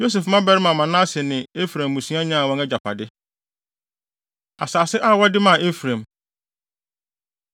Yosef mmabarima Manase ne Efraim mmusua nyaa wɔn agyapade. Asase A Wɔde Maa Efraim